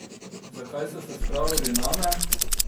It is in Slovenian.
Zakaj so se spravili name?